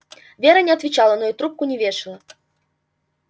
вера не отвечала но и трубку не вешала